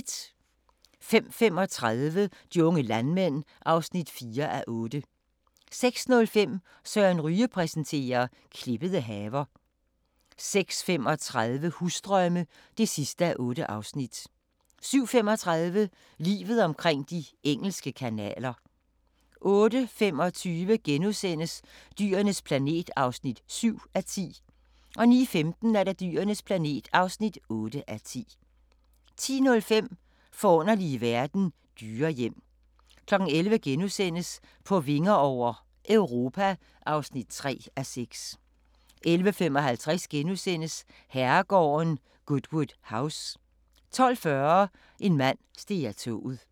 05:35: De unge landmænd (4:8) 06:05: Søren Ryge præsenterer - klippede haver 06:35: Husdrømme (8:8) 07:35: Livet omkring de engelske kanaler 08:25: Dyrenes planet (7:10)* 09:15: Dyrenes planet (8:10) 10:05: Forunderlige verden - dyrehjem 11:00: På vinger over - Europa (3:6)* 11:55: Herregården Goodwood House * 12:40: En mand steg af toget